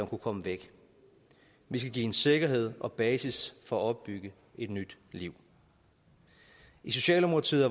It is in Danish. kunne komme væk vi skal give hende sikkerhed og basis for at opbygge et nyt liv i socialdemokratiet